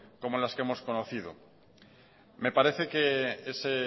como las que hemos conocido me parece que ese